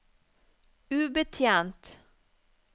ubetjent